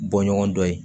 Bɔ ɲɔgɔn dɔ ye